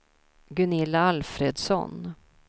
Gunilla Alfredsson